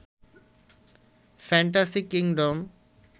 fantasy kingdom